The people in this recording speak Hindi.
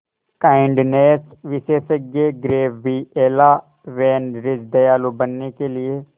काइंडनेस विशेषज्ञ गैब्रिएला वैन रिज दयालु बनने के लिए